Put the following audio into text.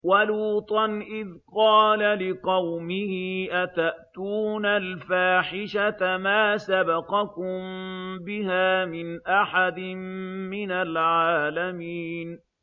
وَلُوطًا إِذْ قَالَ لِقَوْمِهِ أَتَأْتُونَ الْفَاحِشَةَ مَا سَبَقَكُم بِهَا مِنْ أَحَدٍ مِّنَ الْعَالَمِينَ